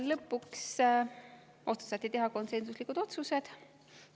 Lõpuks otsustati teha konsensuslikud otsused.